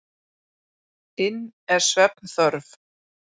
inn er svefnþörf.